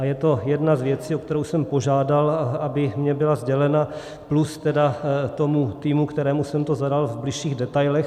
A je to jedna z věcí, o kterou jsem požádal, aby mi byla sdělena, plus tedy tomu týmu, kterému jsem to zadal v bližších detailech.